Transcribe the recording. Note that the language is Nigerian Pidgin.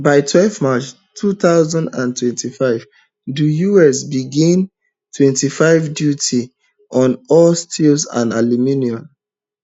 by twelve march two thousand and twenty-five di us begin twenty-five duty on all steel and aluminium